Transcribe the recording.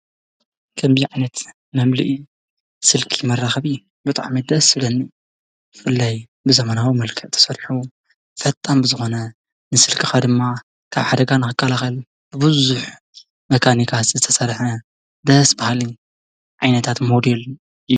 ከምዕነት መምልእ ስልኪ መራኸቢ ብጥዓ መደስ ስለኒ ፍለይ ብዘመናዊ መልከእ ተሠሪሑ ፈጥም ብዝኾነ ንስልክኻ ድማ ካብ ሓደጋን ኽካላኸል ብብዙኅ መካኒካት ዝተሠርሐ ደስ በሓልን ዓይነታት ሞድል እዩ።